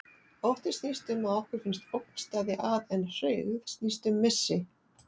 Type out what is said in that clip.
Ótti snýst um að okkur finnst ógn steðja að, en hryggð snýst um missi.